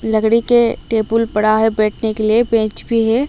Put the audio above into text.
लकड़ी के टेबुल पड़ा है बैठने के लिए बेंच भी है।